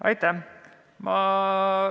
Aitäh!